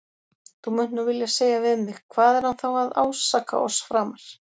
Þú munt nú vilja segja við mig: Hvað er hann þá að ásaka oss framar?